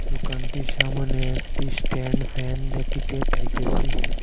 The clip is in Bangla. দোকানটির সামোনে একটি স্ট্যান্ড ফ্যান দেখিতে পাইতেসি।